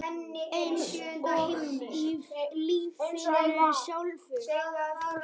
Eins og í lífinu sjálfu.